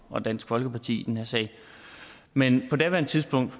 og dansk folkeparti i den her sag men på daværende tidspunkt